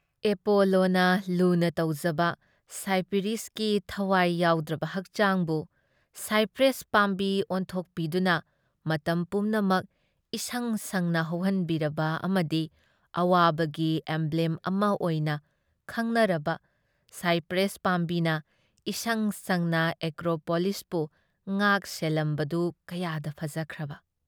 ꯑꯦꯄꯣꯂꯣꯅ ꯂꯨꯅ ꯇꯧꯖꯕ ꯁꯥꯏꯄꯥꯔꯤꯁꯁꯀꯤ ꯊꯋꯥꯏ ꯌꯥꯎꯗ꯭ꯔꯕ ꯍꯛꯆꯥꯡꯕꯨ ꯁꯥꯏꯄ꯭ꯔꯦꯁ ꯄꯥꯝꯕꯤ ꯑꯣꯟꯊꯣꯛꯄꯤꯗꯨꯅ ꯃꯇꯝ ꯄꯨꯝꯅꯃꯛ ꯏꯁꯪ ꯁꯪꯅ ꯍꯧꯍꯟꯕꯤꯔꯕ ꯑꯃꯗꯤ ꯑꯋꯥꯕꯒꯤ ꯑꯦꯝꯕ꯭ꯂꯦꯝ ꯑꯃ ꯑꯣꯏꯅ ꯈꯪꯅꯔꯕ ꯁꯥꯏꯄ꯭ꯔꯦꯁ ꯄꯥꯝꯕꯤꯅ ꯏꯁꯪ ꯁꯪꯅ ꯑꯦꯄ꯭ꯔꯣꯄꯣꯂꯤꯁꯄꯨ ꯉꯥꯛ-ꯁꯦꯜꯂꯝꯕꯗꯨ ꯀꯌꯥꯗ ꯐꯖꯈ꯭ꯔꯕ!